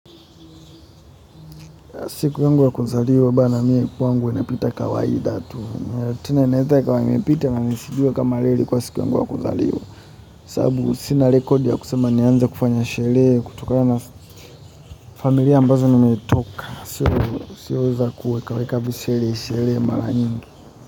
Siku yangu ya kuzaliwa bana mimi kwangu inapita kawaida tu. Tena inaweza kuwa imepita na nisijue kama leo ilikuwa siku yangu ya kuzaliwa sababu sina rekodi nianze kufanya sherehe kutokana na familia ambazo nimetoka sio za kuweka visherehe sherehe kwa wingi.